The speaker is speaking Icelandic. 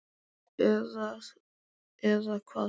Eða, eða hvað?